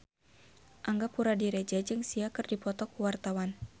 Angga Puradiredja jeung Sia keur dipoto ku wartawan